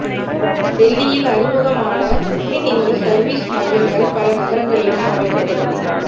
டெல்லியில் அறிமுகமான பின் இந்த சர்வீஸ் மையங்கள் பல நகரங்களிலும் அமைக்கப்படும்